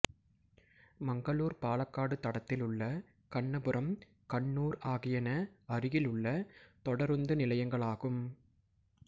மங்களூர்பாலக்காடு தடத்திலுள்ள கண்ணபுரம் கண்ணூர் ஆகியன அருகிலுள்ள தொடருந்து நிலையங்களாகும்